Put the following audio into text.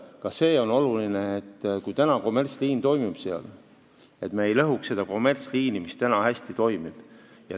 Ka see on oluline, et kui täna kommertsliin toimib, et me siis ei lõhuks seda hästi toimivat liini.